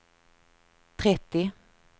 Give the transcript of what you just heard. trettio